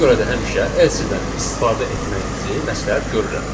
Buna görə də həmişə else-dən istifadə etməyinizi məsləhət görürəm.